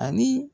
Ani